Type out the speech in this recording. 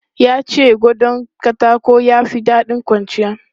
Ya ce gadon katako ya fi daɗin kwanciya.